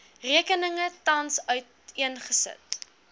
rekeninge tans uiteengesit